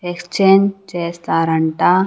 Exchange చేస్తారంట.